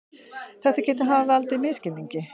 Þetta geti hafa valdið misskilningi